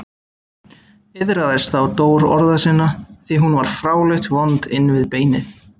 Iðraðist þá Dór orða sinna, því hún var fráleitt vond inn við beinið.